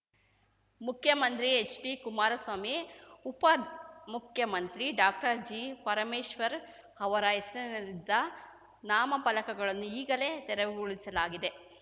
ಮುಖ್ಯಮಂತ್ರಿ ಹೆಚ್ಡಿಕುಮಾರ ಸ್ವಾಮಿ ಉಪಮುಖ್ಯಮಂತ್ರಿ ಡಾಕ್ಟರ್ಜಿಪರಮೇಶ್ವರ್ ಅವರ ಹೆಸರಿನಲ್ಲಿದ್ದ ನಾಮ ಫಲಕಗಳನ್ನು ಈಗಲೇ ತೆರವುಗೊಳಿಸಲಾಗಿದೆ